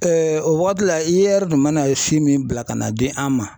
o waati la IER tun mana si min bila ka na di an ma